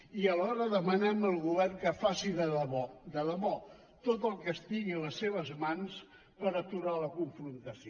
i alhora demanem al govern que faci de debò de debò tot el que estigui a les seves mans per aturar la confrontació